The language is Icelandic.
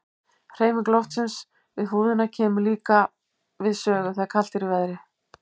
Hreyfing loftsins við húðina kemur líka við sögu þegar kalt er í veðri.